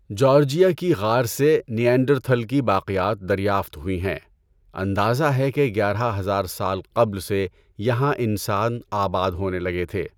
Georgia کی غار سے نینڈرتھل کی باقیات دریافت ہوئی ہیں۔ اندازہ ہے کہ گیارہ ہزار سال قبل سے یہاں انسان آباد ہونے لگے تھے۔